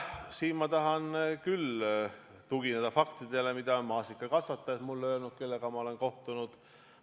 Siin ma tahan küll tugineda faktidele, mida on mulle öelnud maasikakasvatajad, kellega ma olen kohtunud.